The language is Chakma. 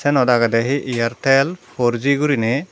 senot aggedy he airtel por g guriney.